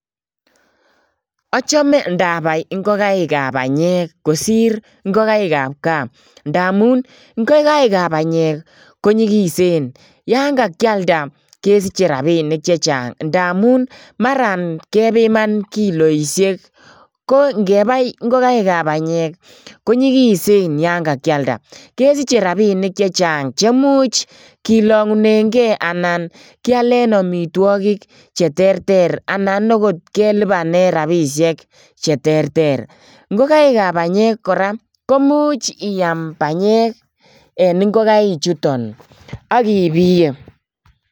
Achame ndapai ngogaek ap panyek kosir ngogaek ap kaa. Yan kakialda, kesiche rabinik che chang' amun mara kepiman kiloisie. Ko ngebai ngogaek ap panyek ko nyigisen yen ki alda. Kesiche rabinik che chang' che much kilong'une ge anan ialen amitwogik che terter. Anan kelibani rabinik che ba tuguk che terter.